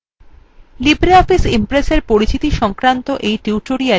libreoffice impressএর পরিচিতি সংক্রান্ত এই tutorialএ আপনাদের স্বাগত